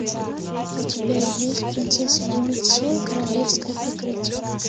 у тебя есть принцесса лебедь семь королевское прикрытие